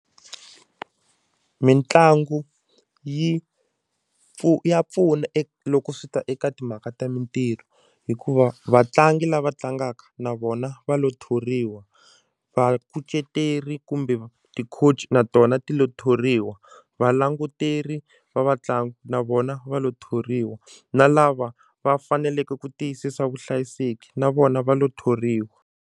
Mitlangu yi ya pfuna loko swi ta eka timhaka ta mintirho hikuva vatlangi lava tlangaka na vona va lo thoriwa vakuceteri kumbe ti-coach-i na tona ti lo thoriwa valanguteri va vatlangi na vona va lo thoriwa na lava va faneleke ku tiyisisa vuhlayiseki na vona va lo thoriwa.